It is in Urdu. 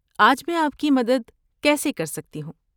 آج میں آپ کی مدد کیسے کر سکتی ہوں؟